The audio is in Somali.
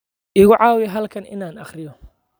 Igu caawi halkan in aan akhriyo